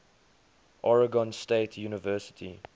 oregon state university